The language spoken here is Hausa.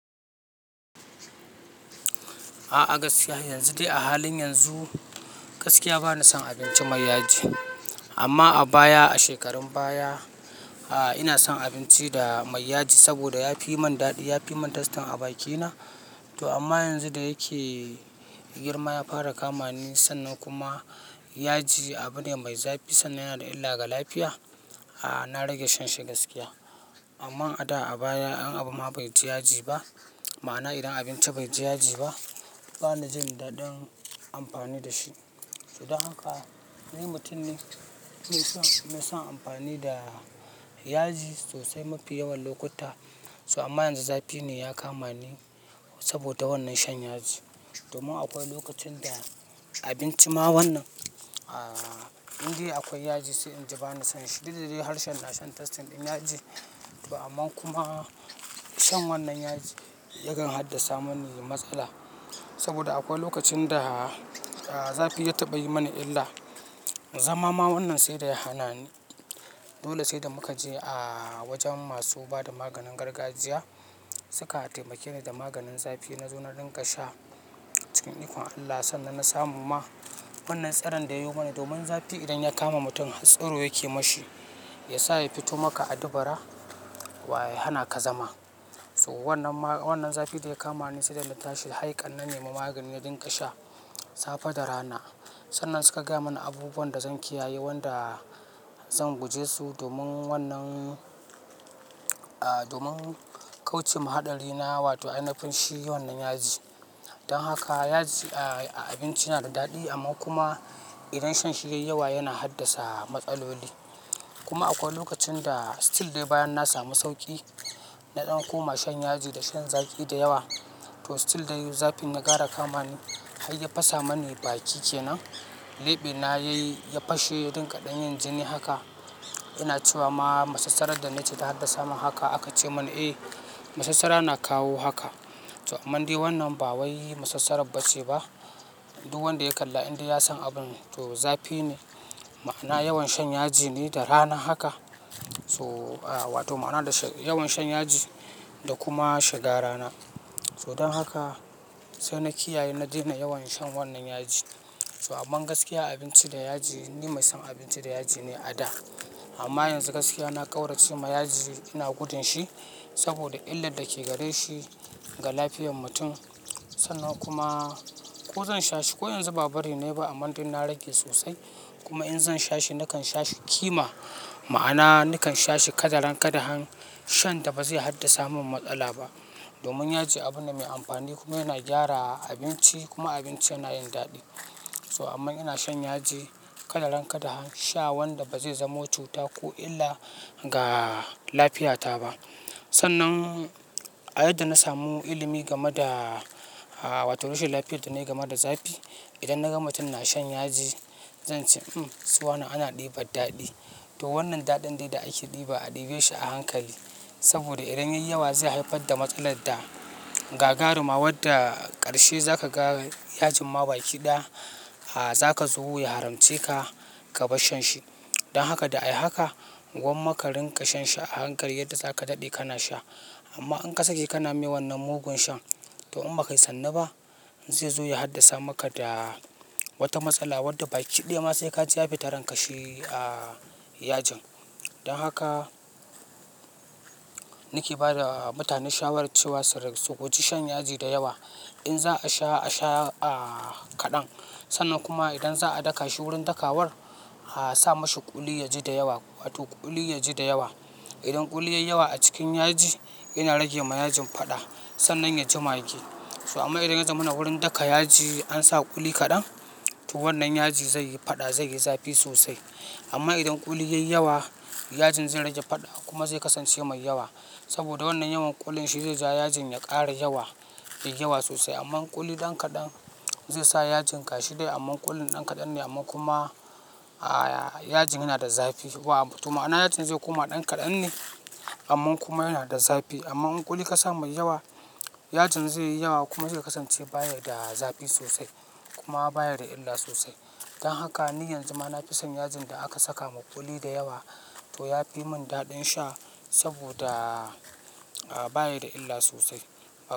A gaskiya yanzu dai a halin yanzu, gaskiya bana son abinci mai yaji. Amma a baya a shekarun baya, a ina son abinci da mai yaji saboda ya fi yi min daɗi, ya fi yi min tastyn a bakina. To amma yanzu da yake girma ya fara kama ni sannan kuma yaji abu ne mai zafi sannan yana da illa ga lafiya. A na rage shan shi gaskiya. Amma a da a baya an abu ma bai ji yaji ba, ma'ana idan abinci bai ji yaji ba, bana jin daɗin amfani da shi. Don haka ni mutum ne mai son, mai son amfani da yaji sosai mafi yawan lokuta. So amma yanzu zafi ne ya kama ni saboda wannan shan yaji. Domin akwai lokacin da abinci ma wannan, a indai akwai yaji sai inji bana son shi. Duk dadai harshen na shan tastyn ɗin yaji. To amma kuma shan wannan yaji yakan haddasa mani matsala. Saboda akwai lokacin da a zafi ya taɓa yi mani illa. Zama ma wannan sai dai ya hana ni. Dole sai da muka je a wajen masu bada maganin gargajiya. Suka taimake ni da maganin zafi. Na zo na rinƙa sha cikin ikon Allah sannan na samu ma wannan tsiron da ya yi mana. Domin zafi idan ya kama mutum tsiro yake ma shi, ya sa ya fito maka a dubura wa ya hana ka zama. To wannan ma, wannan zafi da ya kama ni sai dai na tashi haikan na nemi magani na rinƙa sha safe da rana. Sannan suka gaya mani abubuwan da zan kiyaye, wanda zan guje su domin wannan, a domin kauce ma haɗari na wato ainafin shi wannan yaji. Dan haka yaji a abinci yana da daɗi amma kuma idan shan shi yayi yawa yana haddasa matsaloli. Kuma akwai lokacin da still dai bayan na samu sauki, na ɗan koma shan yaji da shan zaki da yawa. To still dai yayi zafi na gara kama ni har ya fasa mani baki kenan. Leɓe na ya yi, ya fashe rinƙaɗen yin jini haka. Ina cewa ma masassarar da na ci ta haddasa mani haka aka ce mani eh, masassara na kawo haka. To amma dai wannan ba wai masassarar ba ce ba. Duk wanda ya kalla inda ya san abun. To zafi ne, ma'ana yawan shan yaji ne da rana haka. To a wato ma'ana da yawan shan yaji da kuma shiga rana. To don haka sai na kiyaye na daina yawan shan wannan yaji. To amman gaskiya abinci da yaji ni mai son abinci da yaji ne a da. Amma yanzu gaskiya na ƙaurace ma yaji ina gudun shi saboda illar da ke gare shi ga lafiyar mutum. Sannan kuma ko zan sha shi ko yanzu ba bari ne ba amma dun na rage sosai. Kuma in zan sha shi nakan sha shi kima, ma'ana nakan sha shi kadan-kadan shan da ba zai haddasa min matsala ba. Domin yaji abu ne mai amfani kuma yana gyara abinci kuma abinci yana yin daɗi. To amma ina shan yaji kadan-kadan sha wanda ba zai zamo cuta ko illa ga lafiyata ba. Sannan a yadda na samu ilimi game da a wato rashin lafiyar da na yi game da zafi. Idan na ga mutum na shan yaji zan ce sowane ana ɗiba daɗi. To wannan daɗin dai da ake ɗiba a ɗibe shi a hankali saboda idan yayi yawa zai haifar da matsalar da gagaruma wadda ƙarshe za ka ga yajin ma baki ɗaya a za ka zo ya haramce ka ka bar shan shi. Don haka da ai haka gwamma ka rinƙa shan shi a hankali yadda za ka daɗe kana sha. Amma in kasa ke kana yi wannan mugun shan to amma kai sanni ba, zai zo ya haddasa maka da wata matsala wadda baki ɗaya ma sai ka ji zafi ta rankashi a yajin. Don haka ni ke ba da mutane shawarar cewa su rage su guji shan yaji da yawa. In za a sha a sha a kaɗan. Sannan kuma idan za a daka shi wurin daka war a sa mashi kuli yaji da yawa wato kuli yaji da yawa. Idan kuli yayi yawa a cikin yaji yana rage ma yajin faɗa sannan ya ji mage. So amma idan ya zamana wurin daka yaji an sa kuli kaɗan to wannan yaji zai yi faɗa, zai yi zafi sosai. Amma idan kuli yayi yawa yajin zai rage faɗa kuma zai kasance mai yawa. Saboda wannan yawan kulin shi zai sa yajin ya ƙara yawa da yawa sosai. Amman kuli ɗan kaɗan zai sa yajin gashi dai amma kulin ɗan kaɗan ne amma kuma a yajin yana da zafi wa to ma'ana yajin zai koma ɗan kaɗan ne amma kuma yana da zafi. Amma in kuli kasa mai yawa yajin zai yi yawa kuma zai kasance baya da zafi sosai kuma baya da illa sosai. Don haka ni yanzu ma na fi son yajin da aka saka ma kuli da yawa to ya fi mun daɗin sha saboda a baya da illa sosai.